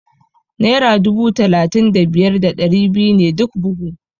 Naira dubu talatin da biyar da ɗari biyu ne duk buhu.